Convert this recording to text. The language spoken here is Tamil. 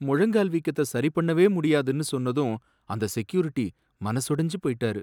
முழங்கால் வீக்கத்த சரி பண்ணவே முடியாதுனு சொன்னதும் அந்த செக்யூரிட்டி மனசொடைஞ்சி போய்ட்டாரு.